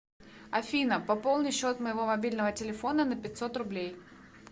афина пополни счет моего мобильного телефона на пятьсот рублей